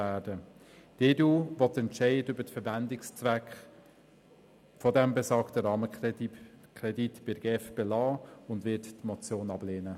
Die EDU will die Entscheide über die Verwendungszwecke des besagten Rahmenkredits bei der GEF lassen, und sie wird die Motion ablehnen.